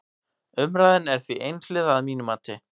Umræðan er því einhliða að mínu mati.